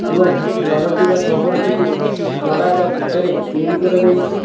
ଏବଂ ଘରଟିର ଛପରଟିକୁ ନଡା ବା କୁଟାରେ ତିଆରି କରାଯାଇଚି।